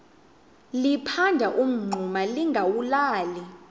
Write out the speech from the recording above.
liphanda umngxuma lingawulali